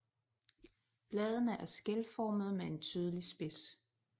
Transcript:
Bladene er skælformede med en tydelig spids